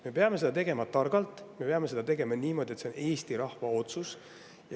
Me peame seda tegema targalt, me peame seda tegema niimoodi, et see oleks Eesti rahva otsus.